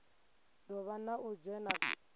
do vha na u dzhena